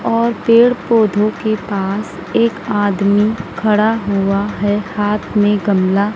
और पेड़ पौधों के पास एक आदमी खड़ा हुआ है हाथ में गमला--